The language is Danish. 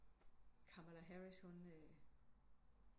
Kamala Harris hun